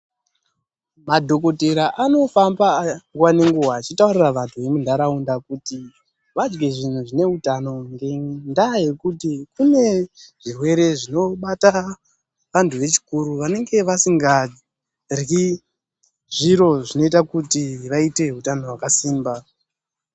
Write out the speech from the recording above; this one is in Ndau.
Madhokodheya anofamba nguwa nenguwa, achitaurira vanthu vemunharaunda kuti varye zvinhu zvineutano, ngendaa yekuti kune zvirwere zvinobata vanthu vechikuru vanenge vasingaryi zviro zvinoita kuti vaite utano hwakasimba.